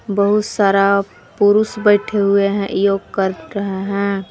बहुत सारा पुरुष बैठे हुए है योग कर रहे है।